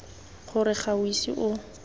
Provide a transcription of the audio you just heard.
gore ga o ise o